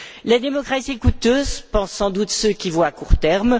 La démocratie est coûteuse, pensent sans doute ceux qui voient à court terme.